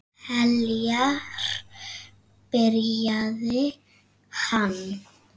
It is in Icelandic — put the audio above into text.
Heljar, byrjaði hann.